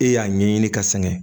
E y'a ɲɛɲini ka sɛgɛn